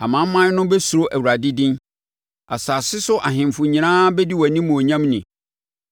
Amanaman no bɛsuro Awurade din; asase so ahemfo nyinaa bɛdi wʼanimuonyam ni.